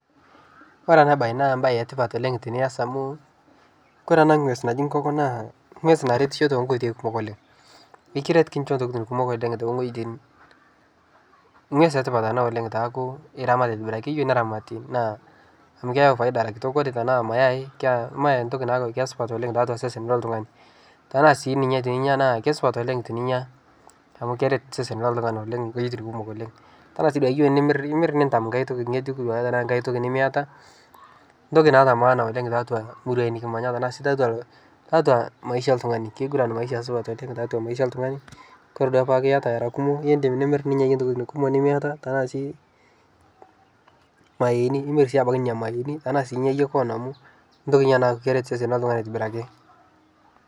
Kore ana bai naa mbai etipat oleng' tiniaz amuu kore anaa ngwez najii nkokoo naa ngwez naretishoo tenkoitei kumok oleng' nikiret nikinshoo ntokitin kumok oleng' teng'ojitin ngwez etipat anaa oleng' peakuu iramat aitibirakii keyeu neramatii naa amu keyau faida eraa kitok kore tanaa mayai naa ntoki nara supat tesesen loltung'ani tanaa sii ninye tininyaa keisupat oleng' tininyaa amu keret sesen leltung'ani oleng' ngojitin kumok oleng' tanaa sii duake iyeu nimr imir nintam ng'hai toki nyejuk tanaa duake ng'hai toki nimiataa ntoki naata maana oleng taatua muruai nikimanya tanaa sii taatua maisha eltung'ani keiguran maisha supat taatua maisha eltung'ani kore duake peaku iata eraa kumoo indim nimir ninyayie ntokitin kumoo nimiataa tanaa sii mayeeni imir si abaki nenia mayeeni tanaa inyaa yie koon amu ntoki inia naret sesen leltung'ani aitibiraki.